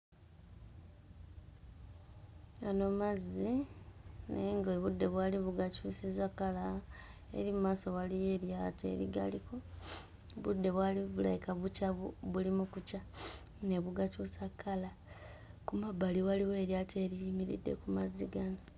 Eno mazzi naye ng'obudde bwali bugakyusizza kkala eri mu maaso waliyo eryato erigaliko obudde bwali bulabika bukyazi buli mu kukya ne bugakyusa kkala; ku mabbali waliwo eryato eriyimiridde ku mazzi gano.